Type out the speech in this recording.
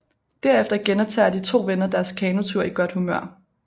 Derefter genoptager de to venner deres kanotur i godt humør